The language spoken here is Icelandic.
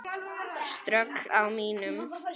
Ströggl á mínum?